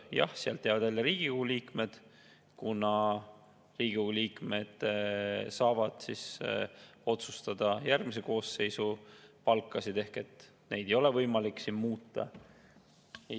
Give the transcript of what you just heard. Jah, sealt jäävad välja Riigikogu liikmed, kuna Riigikogu liikmed saavad otsustada järgmise koosseisu palkasid, oma palka ei ole võimalik muuta.